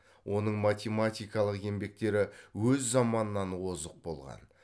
оның математикалық еңбектері өз заманынан озық болған